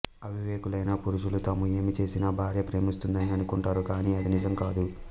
అవివేకులైన పురుషులు తాము ఏమి చేసినా భార్య ప్రేమిస్తుందని అనుకుంటారు కాని అది నిజంకాదు